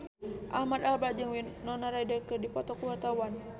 Ahmad Albar jeung Winona Ryder keur dipoto ku wartawan